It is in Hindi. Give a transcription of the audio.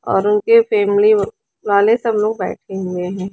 और उनके फैमिली वाले सब लोग बैठे हुए हैं।